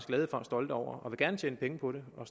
glade for og stolte over det og vil gerne tjene penge på det og